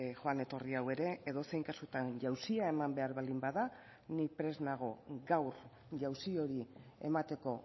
joan etorri hau ere edozein kasutan jauzia eman behar baldin bada ni prest nago gaur jauzi hori emateko